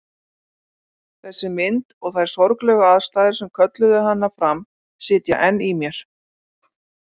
Þessi mynd og þær sorglegu aðstæður sem kölluðu hana fram sitja enn í mér.